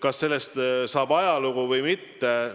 Kas sellest saab ajalugu või mitte?